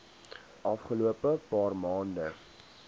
afgelope paar maande